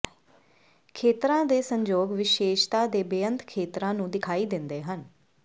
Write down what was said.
ਖੇਤਰਾਂ ਦੇ ਸੰਜੋਗ ਵਿਸ਼ੇਸ਼ਤਾ ਦੇ ਬੇਅੰਤ ਖੇਤਰਾਂ ਨੂੰ ਦਿਖਾਈ ਦਿੰਦੇ ਹਨ